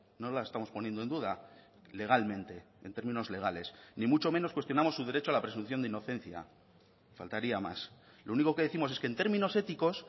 no la estamos poniendo en duda legalmente en términos legales ni mucho menos cuestionamos su derecho a la presunción de inocencia faltaría más lo único que décimos es que en términos éticos